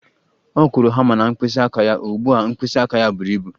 Ọ kụrụ hama na mkpịsị aka ya, ugbu a mkpịsị aka ya buru ibu